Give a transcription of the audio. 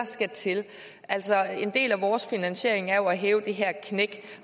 skal til altså en del af vores finansiering er jo at hæve det her knæk